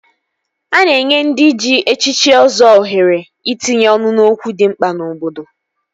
A na-enye ndị ji echichi Ọzọ ohere itinye ọnụ n'okwu dị mkpa n'obodo